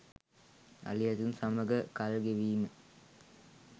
අලි ඇතුන් සමඟ කල් ගෙවීම